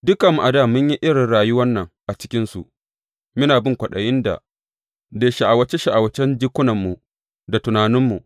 Dukanmu a dā mun yi irin rayuwan nan a cikinsu, muna bin kwaɗayi da sha’awace sha’awacen jikunanmu da tunaninmu.